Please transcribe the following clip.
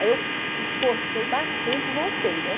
Aí eu esforcei bastante e voltei, né?